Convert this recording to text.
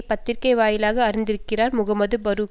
பத்திரிகை வாயிலாக அறிந்திருக்கிறார் முகமது பரூக்